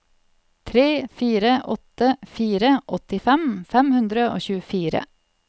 tre fire åtte fire åttifem fem hundre og tjuefire